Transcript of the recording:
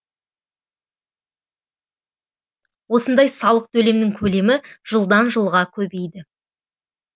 осындай салық төлемнің көлемі жылдан жылға көбейді